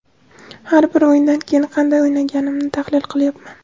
har bir o‘yindan keyin qanday o‘ynaganimni tahlil qilyapman.